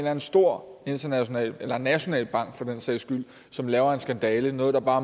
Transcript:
anden stor international eller national bank for den sags skyld som laver en skandale noget der bare